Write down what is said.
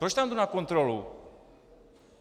Proč tam jdu na kontrolu?